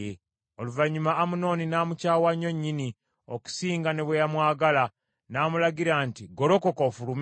Oluvannyuma Amunoni n’amukyawa nnyo nnyini, okusinga ne bwe yamwagala, n’amulagira nti, “Golokoka ofulume.”